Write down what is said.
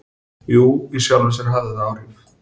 Já í sjálfu sér hafði það áhrif.